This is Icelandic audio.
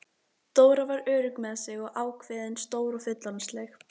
Dóra var örugg með sig og ákveðin, stór og fullorðinsleg.